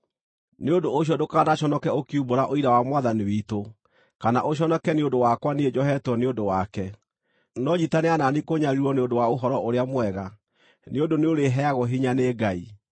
Nĩ ũndũ ũcio ndũkanaconoke ũkiumbũra ũira wa Mwathani witũ, kana ũconoke nĩ ũndũ wakwa niĩ njohetwo nĩ ũndũ wake. No nyiitanĩra na niĩ kũnyariirwo nĩ ũndũ wa Ũhoro-ũrĩa-Mwega, nĩ ũndũ nĩũrĩheagwo hinya nĩ Ngai.